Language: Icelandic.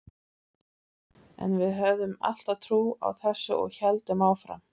En við höfðum alltaf trú á þessu og héldum áfram.